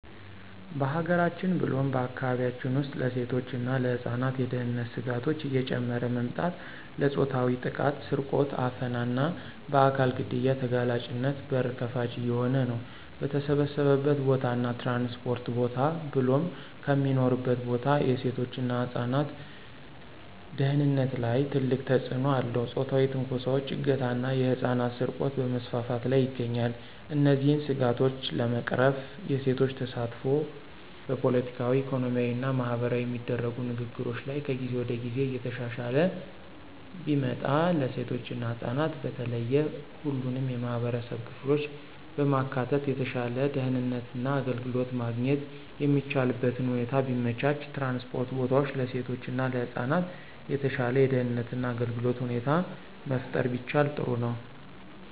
በሀገራችን ብሎም በአካባቢያችን ውስጥ ለሴቶች እና ለህፃናት የደህንነት ስጋቶች እየጨመረ መምጣት ለፆታዊ ጥቃት፣ ስርቆት፣ አፈና እና በአካል ግድያ ተጋላጭነት በር ከፋች እየሆነ ነው። በተሰበሰበበት ቦታ እና ትራንስፖርት ቦታ ብሎም ከሚኖሩበት ቦታ የሴቶች እና ህፃናት ደህንነት ላይ ትልቅ ተጽእኖ አለው ፆታዊ ትንኮሳዎች፣ እገታ ና የህፃናት ስርቆት በመስፋፋት ላይ ይገኛል። እነዚህን ስጋቶች ለመቅረፍ የሴቶች ተሳትፎ በፖለቲካዊ፣ ኢኮኖሚያዊ እና ማህበራዊ የሚደረጉ ንግግሮች ላይ ከጊዜ ወደ ጊዜ እየተሻሻለ ቢመጣ፣ ለሴቶች እና ህፃናት በተለየ ሁሉንም የማህበረሰብ ክፍሎች በማካተት የተሻለ ደህንነት እና አገልግሎት ማግኘት የሚቻልበትን ሁኔታ ቢመቻች፣ ትራንስፖርት ቦታዎች ለሴቶች እና ለህፃናት የተሻለ የደህንነት እና አገልግሎት ሁኔታ መፍጠር ቢቻል ጥሩ ነው።